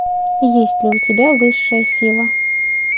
есть ли у тебя высшая сила